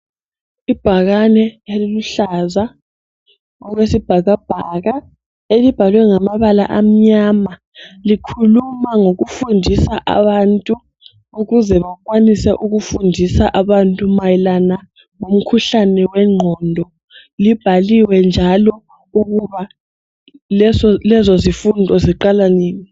Ibhakane eliluhlaza okwesibhakabhaka elibhalwe ngamabala amnyama likhuluma ngokufundisa abantu ukuze bakwanise ukufundisa abantu mayelana ngomkhuhlane wengqondo libhaliwe njalo ukuba lezozifundo ziqala nini